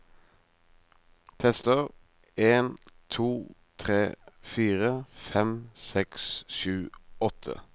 Tester en to tre fire fem seks sju åtte